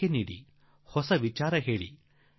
ಸಲಹೆ ಕೊಡಿ ಸೂಚನೆ ನೀಡಿ ಹೊಸ ವಿಚಾರ ಕೊಡಿ